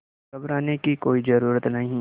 घबराने की कोई ज़रूरत नहीं